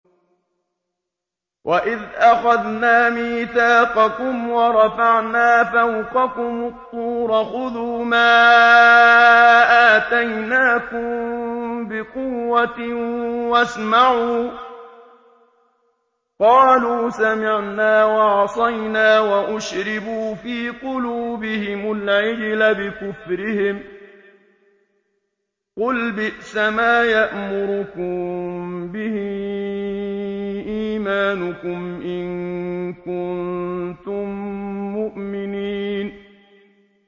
وَإِذْ أَخَذْنَا مِيثَاقَكُمْ وَرَفَعْنَا فَوْقَكُمُ الطُّورَ خُذُوا مَا آتَيْنَاكُم بِقُوَّةٍ وَاسْمَعُوا ۖ قَالُوا سَمِعْنَا وَعَصَيْنَا وَأُشْرِبُوا فِي قُلُوبِهِمُ الْعِجْلَ بِكُفْرِهِمْ ۚ قُلْ بِئْسَمَا يَأْمُرُكُم بِهِ إِيمَانُكُمْ إِن كُنتُم مُّؤْمِنِينَ